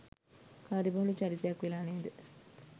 කාර්යබහුල චරිතයක් වෙලා නේද?